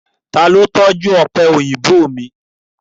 Ta ló tọ́jú ọ̀pẹ̀ òyìnbó mi?